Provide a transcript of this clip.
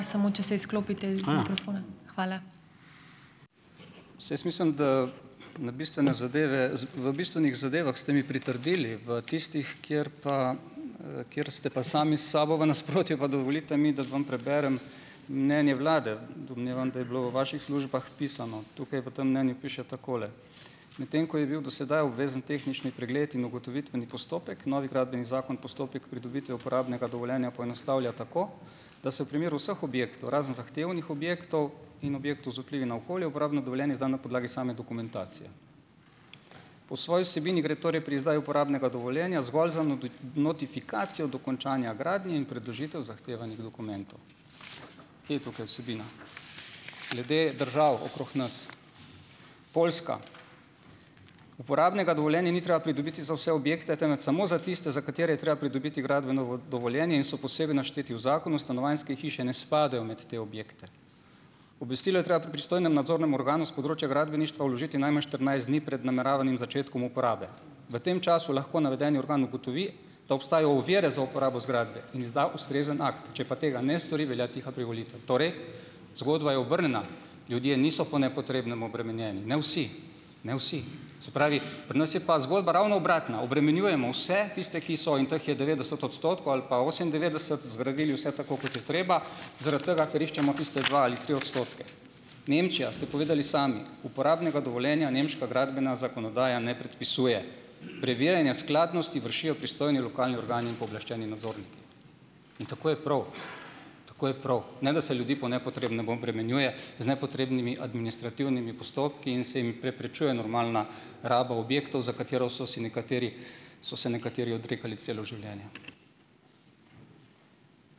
Saj jaz mislim, da na bistvene zadeve, v bistvenih zadevah ste mi pritrdili, v tistih, kjer pa kjer ste pa sami s sabo v nasprotju, pa dovolite mi, da vam preberem mnenje vlade. Domnevam, da je bilo v vaših službah pisano. Tukaj, v tem mnenju, piše takole: "Medtem ko je bil do sedaj obvezen tehnični pregled in ugotovitveni postopek, novi Gradbeni zakon postopek pridobitve uporabnega dovoljenja poenostavlja tako, da se v primeru vseh objektov, razen zahtevnih objektov in objektov z vplivi na okolje, uporabno dovoljenje izda na podlagi same dokumentacije. Po svoji vsebini gre torej pri izdaji uporabnega dovoljenja zgolj za notifikacijo dokončanja gradnje in predložitev zahtevanih dokumentov." Kje je tukaj vsebina? Glede držav okrog nas, Poljska. "Uporabnega dovoljenja ni treba pridobiti za vse objekte, temveč samo za tiste, za katere je treba pridobiti gradbeno dovoljenje in so posebej našteti". V zakonu stanovanjske hiše ne spadajo med te objekte. "Obvestilo je treba pri pristojnem nadzornem organu s področja gradbeništva vložiti najmanj štirinajst dni pred nameravanim začetkom uporabe. V tem času lahko navedeni organ ugotovi, da obstajajo ovire za uporabo zgradbe in izda ustrezen akt. Če pa tega ne stori, velja tiha privolitev." Torej, zgodba je obrnjena. Ljudje niso po nepotrebnem obremenjeni, ne vsi, ne vsi. Se pravi, pri nas je pa zgodba ravno obratna - obremenjujemo vse, tiste, ki so, in teh je devetdeset odstotkov ali pa osemindevetdeset, zgradili vse tako, kot je treba, zaradi tega, ker iščemo tiste dva ali tri odstotke. Nemčija, ste povedali sami, uporabnega dovoljenja nemška gradbena zakonodaja ne predpisuje. Preverjanje skladnosti vršijo pristojni lokalni organi in pooblaščeni nadzorniki. In tako je prav, tako je prav. Ne da se ljudi po nepotrebnem obremenjuje z nepotrebnimi administrativnimi postopki in se jim preprečuje normalna raba objektov, za katero so si nekateri so se nekateri odrekali celo življenje.